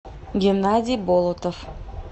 геннадий болотов